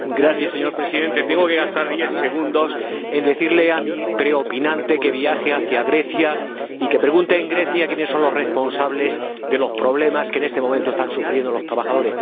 Señor Presidente, tengo que gastar diez segundos en decirle a mi preopinante que viaje a Grecia y que pregunte allí quiénes son los responsables de los problemas que en este momento están sufriendo los trabajadores.